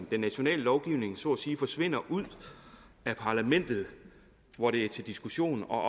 den nationale lovgivning så at sige forsvinder ud af parlamentet hvor det er til diskussion og